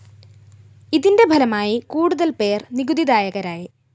ഇതിന്റെ ഫലമായി കൂടുതല്‍ പേര്‍ നികുതി ദായകരായി